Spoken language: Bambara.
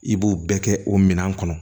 I b'o bɛɛ kɛ o minɛn kɔnɔ